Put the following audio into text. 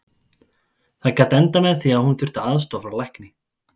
Það gat endað með því að hún þyrfti aðstoð frá lækni.